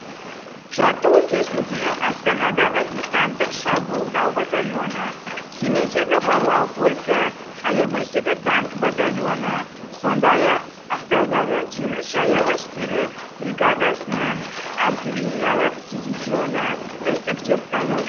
жаттығу кезінде астанадағы десанттық шабуылдау батальоны семейдегі барлау полкі аягөздегі танк батальоны сондай ақ ақтаудағы теңіз жаяу әскері бригадасының артиллериялық дивизионы үздік деп танылды